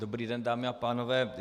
Dobrý den, dámy a pánové.